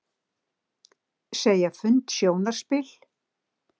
Segja fund sjónarspil